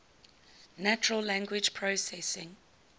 natural language processing